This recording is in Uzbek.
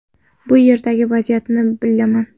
Bu yerdagi vaziyatni bilaman.